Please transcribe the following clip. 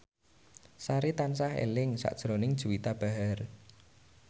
Sari tansah eling sakjroning Juwita Bahar